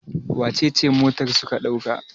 wacece motar suka dauka?